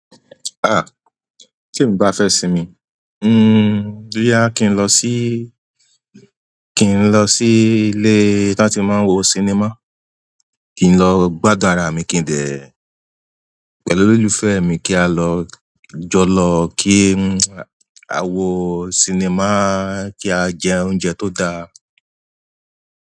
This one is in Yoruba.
Ah! Tí ń bá fẹ́ sinmi, hm, boya kí n lọ síí, kí n lọ síí ilé tí a ti máa ń wo sinimá, kí n lọ gbádùn ara mi, kí n dè pẹ̀lú olólùfẹ́ mi kí á lọ jọ lọ kí á wo sinimá, kí á jẹ oúnjẹ tó da.